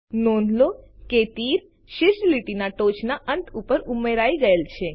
નોંધ લો કે તીર શીર્ષ લીટીના ટોચના અંત ઉપર ઉમેરાઈ ગયેલ છે